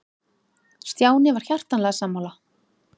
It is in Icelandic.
Stjáni var hjartanlega sammála.